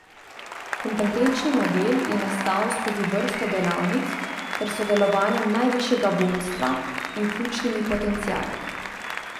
Kompetenčni model je nastal skozi vrsto delavnic ter s sodelovanjem najvišjega vodstva in ključnimi potenciali.